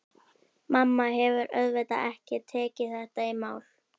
Mamma hefur auðvitað ekki tekið þetta í mál.